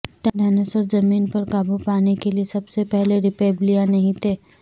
dinosaur زمین پر قابو پانے کے لئے سب سے پہلے ریپبلیاں نہیں تھے